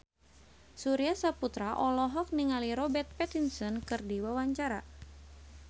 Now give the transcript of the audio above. Surya Saputra olohok ningali Robert Pattinson keur diwawancara